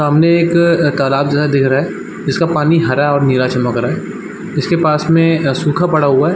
सामने एक अ तालाब जो है दिख रहा है जिसका पानी हरा और नीला चमक रहा है इसके पास में अ सूखा पड़ा हुआ हैं |